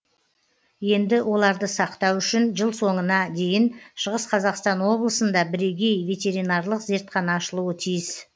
енді оларды сақтау үшін жыл соңына дейін шығыс қазақстан облысында бірегей ветеринарлық зертхана ашылуы тиіс